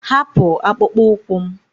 Hapụ akpụkpọ ụkwụ m!